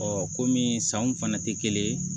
kɔmi sanw fana tɛ kelen ye